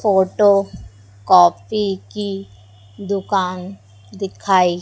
photo copy की दुकान दिखाई--